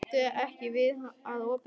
Gakktu ekki að opinu.